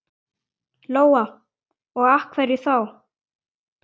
Lóa: Og af hverju þá?